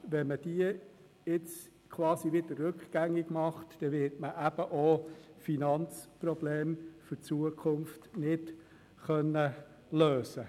Wenn man diese jetzt quasi wieder rückgängig macht, wird man eben auch zukünftige Finanzprobleme nicht lösen können.